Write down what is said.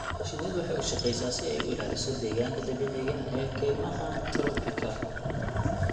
Shinnidu waxay u shaqeysaa si ay u ilaaliso deegaanka dabiiciga ah ee kaymaha tropika.